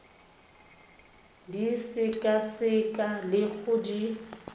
di sekaseka le go di